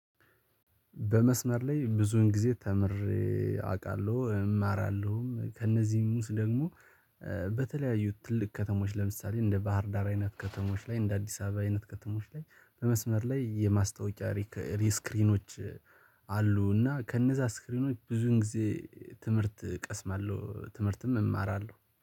በመስመር ላይ ብዙን ጊዜ ተምሬ አውቃለሁ እማራለሁም ከእነዚህም ውስጥ ደግሞ። በተለያዩ ትልቅ ከተሞች ለምሳሌ እንደ ባህር ዳር አይነት ከተሞች ላይ እንደ አዲስ አበባ አይነት ከተሞች ላይ በመስመር ላይ የማስታወቂያ ስክሪኖች አሉ። እና ከነዛ ስክሪኖች ብዙ ጊዜ ትምህርት ቀስማለሁ ትምህርትም እማራለሁ